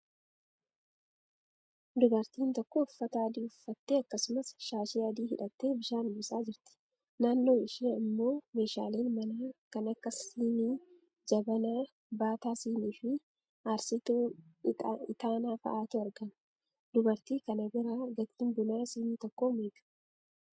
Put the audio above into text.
Dubartiin tokko uffata adii uffattee akkasumas shaashii adii hidhattee bishaan buusaa jirti. Naannoo ishee immoo meeshaaleen manaa kan akka sinii, jabanaa, baataa sinii fi aarsituu itaanaa fa'aatu argama. Dubartii kana biraa gatiin buna sinii tokko meeqa?